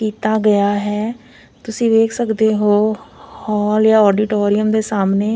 ਕੀਤਾ ਗਿਆ ਹੈ ਤੁਸੀ ਵੇਖ ਸਕਦੇ ਹੋ ਹੋਲ ਯਾਂ ਆਡੀਟੋਰੀਅਮ ਦੇ ਸਾਹਮਣੇ--